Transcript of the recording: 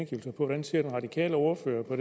hvordan ser den radikale ordfører på